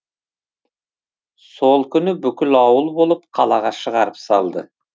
сол күні бүкіл ауыл болып қалаға шығарып салды